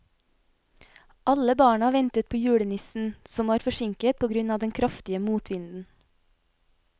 Alle barna ventet på julenissen, som var forsinket på grunn av den kraftige motvinden.